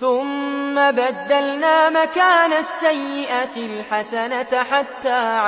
ثُمَّ بَدَّلْنَا مَكَانَ السَّيِّئَةِ الْحَسَنَةَ حَتَّىٰ